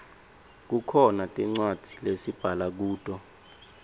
kukhona tincwadzi lesibhala kuto